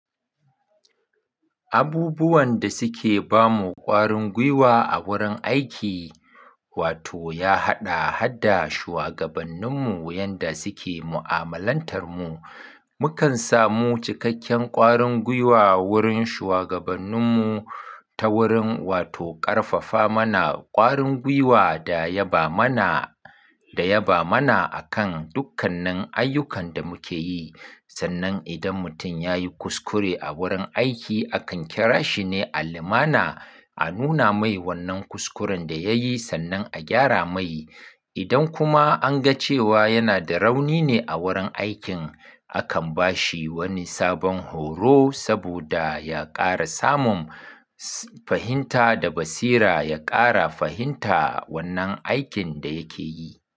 Abubuwan da suke ba mu ƙwarin gwiwa a wurin aiki, wato ya haɗa har da shugabanninmu yanda suke mu'amalantar mu. Mukan samu cikakken ƙwarin gwiwa wurin shugabanninmu ta wurin wato ƙarfafa mana ƙwarin gwiwa da yaba mana, da yaba mana akan dukkanin ayyukan da muke yi. Sannan idan mutum ya yi kuskure a wurin aiki, akan kira shi ne a limana, a nuna mai wannan kuskuren da ya yi sannan a gyara mai. Idan kuma an ga cewa yana da rauni ne a wurin aikin, akan ba shi wani sabon horo saboda ya ƙara samun fahimta da basira, ya ƙara fahimta wannan aikin da yake yi.